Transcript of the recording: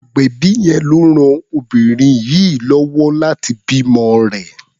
Agbẹ̀bí yẹn ló ran obìnrin yìí lọ́wọ́ láti bímọ rẹ̀.